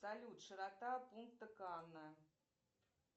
салют широта пункта канна